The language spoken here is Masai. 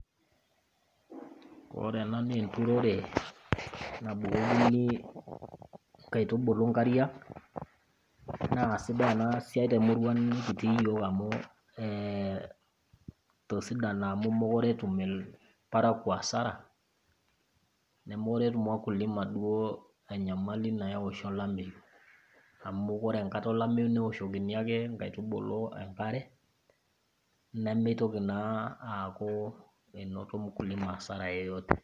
Ore ena naa enturore nabukokini inkatubulu inkariak naa sidai ena siai temurua nikitii iyiook netosidana amu mekure etum ilparakuo hasara nemekure etum wakulima duoo enyamali nayau olameyu amu ore enkata olameyu neoshokini ake inkaitubulu enkare nemitoki naa aaku enoto CS[mkulima hasara yeyote]CS.